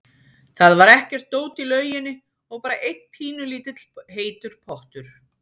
Það var ekkert dót í lauginni og bara einn pínulítill heitur pottur.